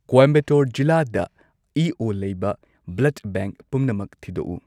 ꯀꯣꯏꯝꯕꯇꯣꯔ ꯖꯤꯂꯥꯗ ꯏ ꯑꯣ ꯂꯩꯕ ꯕ꯭ꯂꯗ ꯕꯦꯡꯛ ꯄꯨꯝꯅꯃꯛ ꯊꯤꯗꯣꯛꯎ꯫